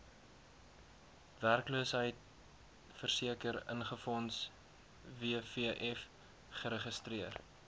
werkloosheidversekeringsfonds wvf geregistreer